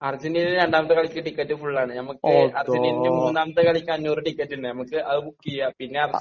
അർജന്റീനയുടെ രണ്ടാമത്തെ കളിക്ക് ടിക്കറ്റ് ഫുൾ ആണ്. നമുക്ക് അർജന്റീനയുടെ മൂന്നാമത്തെ കളിക്ക് അഞ്ഞൂറ് ടിക്കറ്റുണ്ട്, നമുക്ക് അത് ബുക്ക് ചെയ്യാം.പിന്നെ...